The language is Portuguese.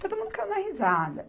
Todo mundo caiu na risada.